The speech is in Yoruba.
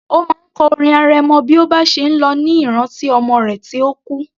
Ó máa ń kọ orin arẹmọ bí ó bá ṣe ń lọ ní ìrántí ọmọ rẹ̀ tí ó kú